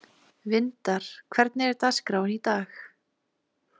Vindar, hvernig er dagskráin í dag?